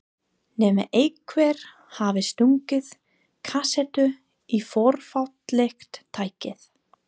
Nema einhver hafi stungið kasettu í fornfálegt tækið.